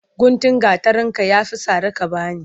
Guntun gatarinka ya fi sari ka ba ni.